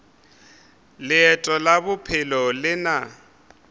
leeto la bophelo le na